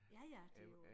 Ja ja det jo